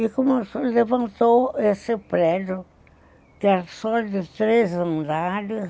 E levantou esse prédio, que era só de três andares,